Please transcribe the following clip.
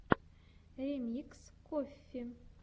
ремикс коффи